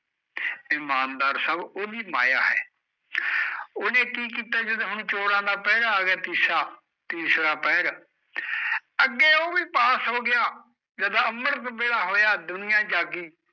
ਇਮਾਨਦਾਰ ਸਭ ਉਹਦੀ ਮਾਇਆ ਐ ਉਹਨੇ ਕੀ ਕੀਤਾ ਜਦੋਂ ਹੁਣ ਚੋਰਾਂ ਦਾ ਪਹਿਰਾ ਆਇਆ ਤੀਸਾ, ਤੀਸਰਾ ਪਹਿਰ, ਅੱਗੇ ਉਹ ਵੀ ਪਾਸ ਹੋਗਿਆ ਜਦ ਅੰਮ੍ਰਿਤ ਵੇਲਾ ਹੋਇਆ ਦੁਨੀਆ ਜਾਗੀ